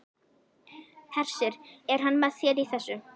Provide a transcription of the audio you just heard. Hersir: Er hann með þér í þessu?